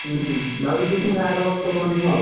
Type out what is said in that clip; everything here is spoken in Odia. ହୁଁ! ଭାବିଛି ପୁଣି ଆର ବର୍ଷ କରିମୁଁ ଆଉ।